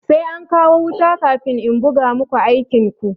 Sai an kawo wuta kafin in buga muku aikin ku.